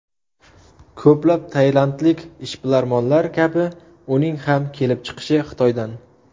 Ko‘plab tailandlik ishbilarmonlar kabi uning ham kelib chiqishi Xitoydan.